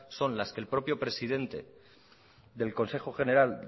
son las que el propio presidente del consejo general